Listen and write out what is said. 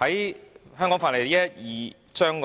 就《香港法例》第112章